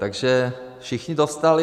Takže všichni dostali.